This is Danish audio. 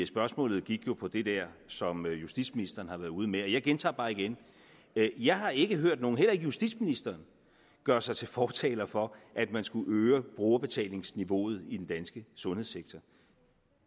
spørgsmålet gik på det der som justitsministeren har været ude med og jeg gentager bare igen jeg har ikke hørt nogen heller ikke justitsministeren gøre sig til fortaler for at man skulle øge brugerbetalingsniveauet i den danske sundhedssektor